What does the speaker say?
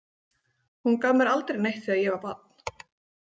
Hún gaf mér aldrei neitt þegar ég var barn.